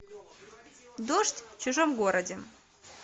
дождь в чужом городе